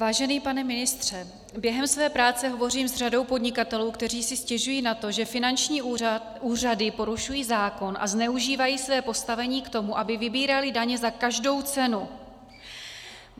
Vážený pane ministře, během své práce hovořím s řadou podnikatelů, kteří si stěžují na to, že finanční úřady porušují zákon a zneužívají své postavení k tomu, aby vybíraly daně za každou cenu.